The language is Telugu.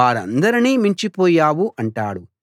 వారందరినీ మించిపోయావు అంటాడు